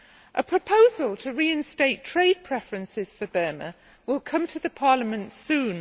A proposal to reinstate trade preferences for Burma will come to the Parliament soon.